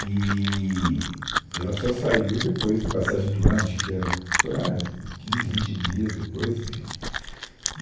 Eee e ela só saiu depois de passagem do ano, acho que dia ficou lá quinze, vinte dias depois, enfim.